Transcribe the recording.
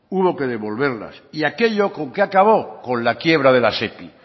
hubo que devolverlas y aquello con qué acabo con la quiebra de la sepi